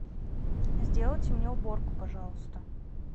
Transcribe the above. сделайте мне уборку пожалуйста